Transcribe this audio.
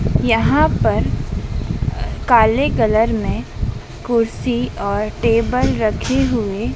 यहां पर काले कलर मे कुर्सी और टेबल रखे हुए हैं।